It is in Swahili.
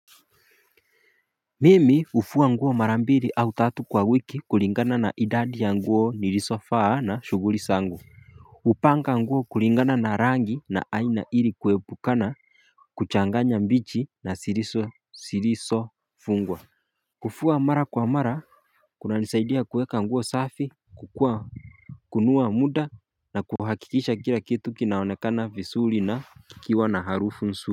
Mimi hufuwa nguo mara mbili au tatu kwa wiki kulingana na idadi ya nguo niliso faa na shuguri zangu upanga nguo kulingana na rangi na aina ili kuebukana kuchanganya mbichi na siriso siriso fungwa Kufuwa mara kwa mara kunanizaidia kuweka nguo safi kukua kunua muda na kuhakikisha kila kitu kinaonekana visuli na kikiwa na harufu nsu.